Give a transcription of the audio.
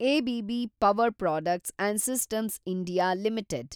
ABB power products and systems India limited